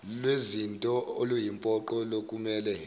lwezinto oluyimpoqo lokumele